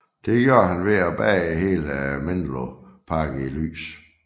Det gjorde han ved at bade hele Menlo Park i lys